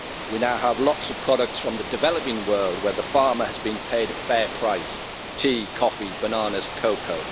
We now have lots of products from the developing world where the farmer has been paid a fair price tea, coffee, bananas and cocoa.